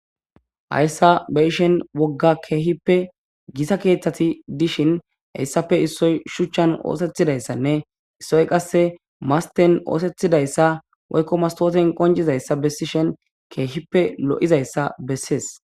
Hayssa be ishen wogga keehippe gisa keeththati dishin hayssafe issoy shuchchan oosethidayssanne issoy qasse masten oosethidayssa woykko mastooten qonjizayssa bessishen keehippe lo7izayssa bessees.